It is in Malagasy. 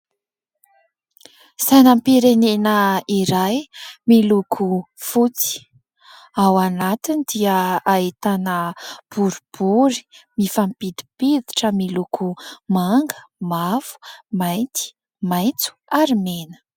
Sainam-pirenena iray miloko fotsy. Ao anatiny dia ahitana boribory mifampidimpiditra miloko manga, mavo, mainty, maitso ary mena.